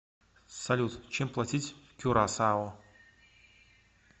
салют чем платить в кюрасао